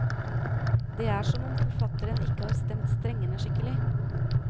Det er som om forfatteren ikke har stemt strengene skikkelig.